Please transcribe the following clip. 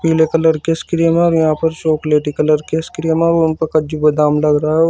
पीले कलर की आइसक्रीम है और यहां पर चॉकलेटी कलर की आइसक्रीम है और उनपे कज्जू बादाम डल रहो।